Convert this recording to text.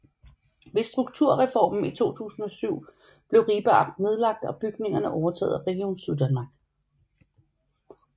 Ved Strukturreformen i 2007 blev Ribe Amt nedlagt og bygningerne overtaget af Region Syddanmark